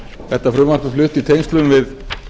þetta frumvarp er flutt í tengslum við